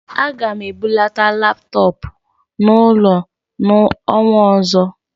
Aga m ebulata laptọọpụ n'ụlọ n'ọnwa ọzọ